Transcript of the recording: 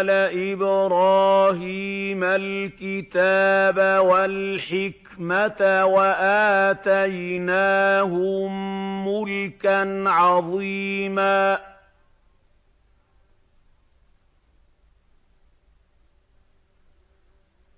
آلَ إِبْرَاهِيمَ الْكِتَابَ وَالْحِكْمَةَ وَآتَيْنَاهُم مُّلْكًا عَظِيمًا